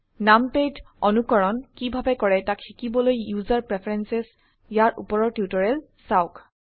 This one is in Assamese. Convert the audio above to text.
নামপ্যাড অনুকৰণ কিভাবে কৰে তাক শিকিবলৈ ইউসাৰ প্ৰেফেৰেন্সেস ইয়াৰ উপৰৰ টিউটোৰিয়েল চাওক